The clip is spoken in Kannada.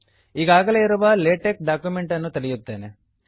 ಈಗಾಗಲೇ ಇರುವ ಲೇಟೆಕ್ ಡಾಕ್ಯುಮೆಂಟ್ ಅನ್ನು ತೆರೆಯುತ್ತೇನೆ